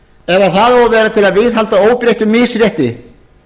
ef það á að vera til að viðhalda óbreyttu misrétti